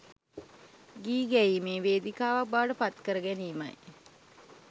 ගී ගැයීමේ වේදිකාවක් බවට පත් කර ගැනීමයි